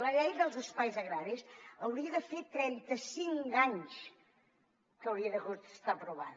la llei dels espais agraris hauria de fer trenta cinc anys que hauria d’haver estat aprovada